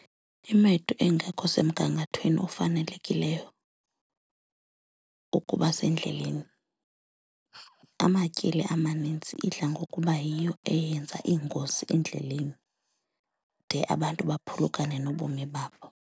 Imoto ingekho semgangathweni ofanelekileyo ukuba sendleleni, amatyeli amanintsi idla ngokuba yiyo eyenza iingozi endleleni de abantu baphulukane nobomi babo.